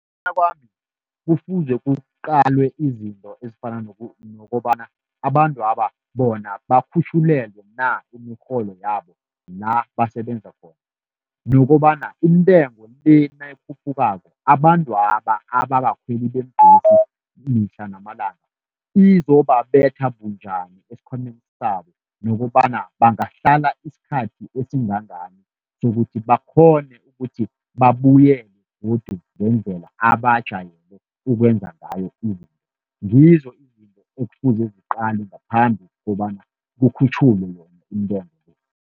Ngokuya kwami kufuze kuqalwe izinto ezifana nokobana, abantwaba bona bakhutjhulelwe na imirholo yabo la basebenza khona? Nokobana intengo le nayikhuphukako, abantwaba ababakhweli beembhesi mihla namalanga izobabetha bunjani esikhwameni sabo. Nokobana bangahlala isikhathi esingangani, sokuthi bakghone ukuthi babuyele godu ngendlela abajayele ukwenza ngayo izinto. Ngizo izinto ekufuze ziqalwe ngaphambi kobana kukhutjhulwe yona intengo le.